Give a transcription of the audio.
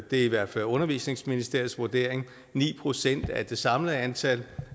i hvert fald undervisningsministeriets vurdering ni procent af det samlede antal